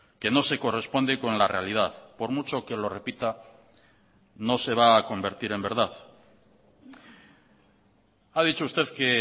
que no se corresponde con la realidad por mucho que lo repita no se va a convertir en verdad ha dicho usted que